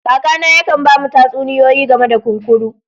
Kaka na yaka'n bamu tatsuniyoyi game da kunkuru.